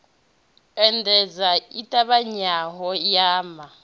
endedza i ṱavhanyaho ya ma